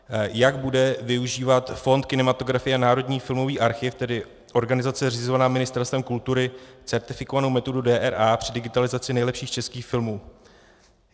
Jak bude využívat fond kinematografie a Národní filmový archiv, tedy organizace zřizované Ministerstvem kultury, certifikovanou metodu DRA při digitalizaci nejlepších českých filmů?